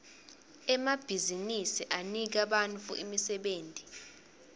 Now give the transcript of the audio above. emabhizinsi anika bantfu imisebenti